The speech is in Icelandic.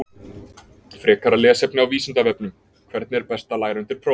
Frekara lesefni á Vísindavefnum: Hvernig er best að læra undir próf?